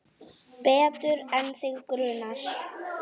Betur en þig grunar.